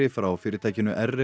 frá fyrirtækinu